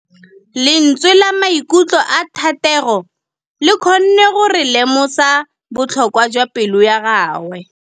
Lentswe la maikutlo a Thategô le kgonne gore re lemosa botlhoko jwa pelô ya gagwe.